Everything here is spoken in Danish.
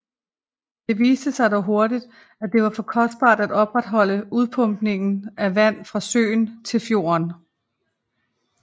Det viste sig dog hurtigt at det var for kostbart at opretholde udpumpningen af vand fra søen til fjorden